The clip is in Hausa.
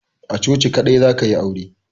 A coci kadai za ka yi aure.